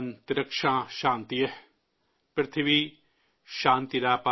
वनस्पतय शान्तिर्विश्र्वे देवा शान्तिर्ब्रह्म शान्ति,